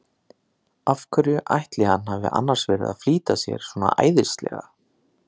Af hverju ætli hann hafi annars verið að flýta sér svona æðislega!